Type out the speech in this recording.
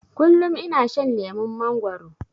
Kullum ina shan lemon mangwaro